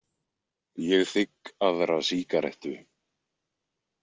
Ég þigg aðra sígarettu.